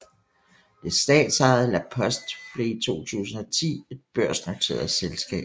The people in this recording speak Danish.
Det statsejede La Poste blev i 2010 et børsnoteret selskab